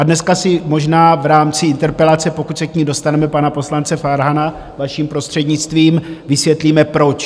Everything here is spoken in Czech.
A dneska si možná v rámci interpelace, pokud se k ní dostaneme, pana poslance Farhana, vaším prostřednictvím, vysvětlíme, proč.